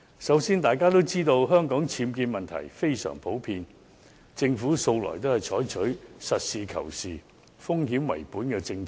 首先，大家也知道，香港僭建問題非常普遍，政府向來都是採取實事求是，風險為本的政策。